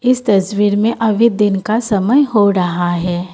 इस तस्वीर में अभी दिन का समय हो रहा है।